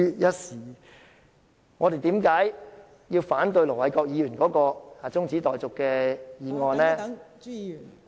為何我們要反對盧偉國議員的中止待續議案......